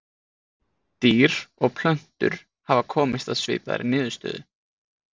dýr og plöntur hafa komist að svipaðri niðurstöðu